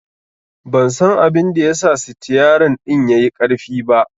Ban san abinda ya sa sitiyerin ɗin yai ƙarfi ba